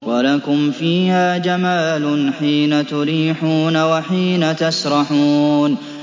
وَلَكُمْ فِيهَا جَمَالٌ حِينَ تُرِيحُونَ وَحِينَ تَسْرَحُونَ